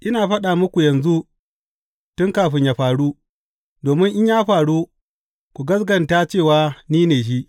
Ina faɗa muku yanzu tun kafin yă faru, domin in ya faru, ku gaskata cewa ni ne Shi.